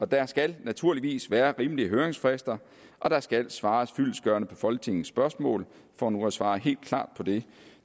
der skal naturligvis være rimelige høringsfrister og der skal svares fyldestgørende på folketingets spørgsmål for nu at svare helt klart på det